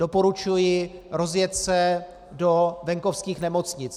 Doporučuji rozjet se do venkovských nemocnic.